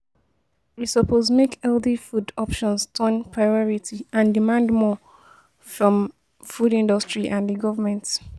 We suppose make healthy food option turn priority and demand more from di food industry and di government.